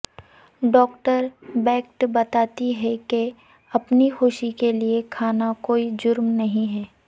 doctor Beckett بتاتی ہیں کہ اپنی خوشی کے لیے کھانا کوئی جرم نہیں ہے